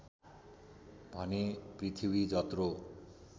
भने पृथ्वी जत्रो